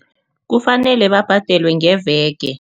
Kufanele babhadelwe ngeveke.